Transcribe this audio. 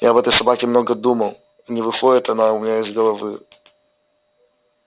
я об этой собаке много думал не выходит она у меня из головы